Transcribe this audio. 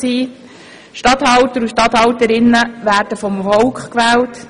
Regierungsstatthalter und Regierungsstatthalterinnen werden vom Volk gewählt.